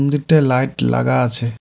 দুইটা লাইট লাগা আছে।